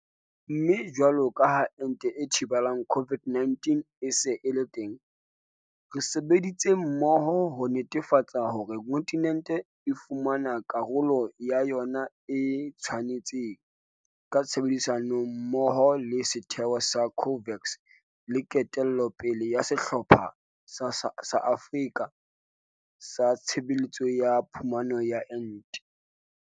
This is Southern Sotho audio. Mme jwalo ka ha ente e thibelang COVID-19 e se e le teng, re sebeditse mmoho ho netefatsa hore kontinente e fumana karolo ya yona e e tshwanetseng, ka tshebedisano mmoho le setheo sa COVAX le ketello pele ya Sehlopha sa Afrika sa Tshebetso ya Phumano ya Ente.